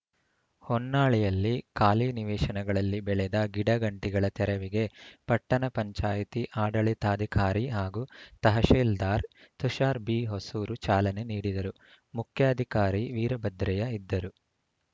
ಹೊನ್ನಾಳಿಯಲ್ಲಿ ಖಾಲಿ ನಿವೇಶನಗಳಲ್ಲಿ ಬೆಳೆದ ಗಿಡಗಂಟಿಗಳ ತೆರವಿಗೆ ಪಟ್ಟಣ ಪಂಚಾಯತಿ ಆಡಳಿತಾಧಿಕಾರಿ ಹಾಗೂ ತಹಶಿಲ್ದಾರ್ ತುಷಾರ್‌ ಬಿಹೊಸೂರು ಚಾಲನೆ ನೀಡಿದರು ಮುಖ್ಯಾಧಿಕಾರಿ ವೀರಭದ್ರಯ್ಯ ಇದ್ದರು